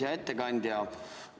Hea ettekandja!